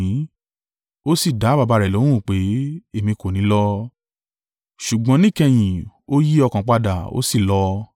“Ó sì dá baba rẹ̀ lóhùn pé, ‘Èmi kò ní í lọ,’ ṣùgbọ́n níkẹyìn ó yí ọkàn padà, ó sì lọ.